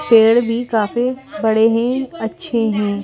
पेड़ भी काफी बड़े हैं अच्छे हैं ।